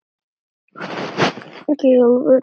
Í alvöru.